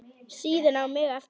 Síðan á mig aftur.